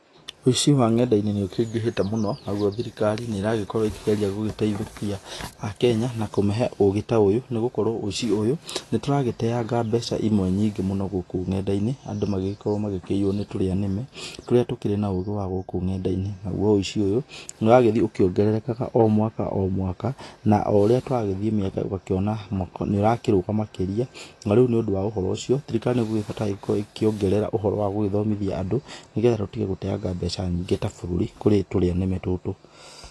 Ũici wa nenda-inĩ nĩ ũkĩingĩhĩte mũno, naguo thirikari nĩ ĩrakorwo ĩkĩgwria gũtaithũkia Akenya na kũmahe ũgĩ ta ũyũ nĩgũkorwo ũici ũyũ nĩ tũragĩteanga mbeca imwe nyingĩ mũno gũkũ nenda-inĩ, andũ magagĩkorwo makĩiywo nĩ tũrĩanĩme tũrĩa tũkĩrĩ na ũgĩ wa gũkũ on nenda-inĩ. Naguo ũici ũyũ, nĩ ũragĩthiĩ ũkĩongererekaga o mwaka o mwaka, na oũrĩa tũragĩthiĩ mĩaka ũgakĩona nĩũrakĩrũga makĩria, narĩu nĩ ũndũ wa ũhoro ũcio, thirikari noguo ĩbataire gũkorwo ĩkĩongerera ũhoro wa gũgĩthomithia andũ nĩgetha tũtige gũteanga mbeca nyingĩ ta bũrũri kũrĩ tũrĩa nĩme tũtũ.